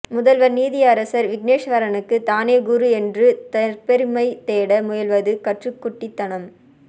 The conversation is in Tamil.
முதல்வர் நீதியரசர் விக்னேஸ்வரனுக்கு தானே குரு என்று தற்பெருமை தேட முயல்வது கற்றுக்குட்டித்தனம்